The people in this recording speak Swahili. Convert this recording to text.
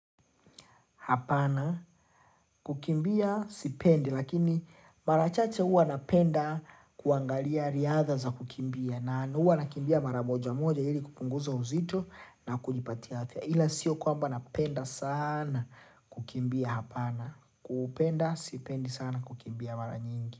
Hapana kukimbia sipendi lakini mara chache huwa napenda kuangalia riadha za kukimbia na huwa nakimbia mara moja moja ili kupunguza uzito na kulipatia afya. Hila sio kwamba napenda sana kukimbia hapana. Kupenda sipendi sana kukimbia mara nyingi.